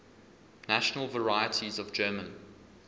national varieties of german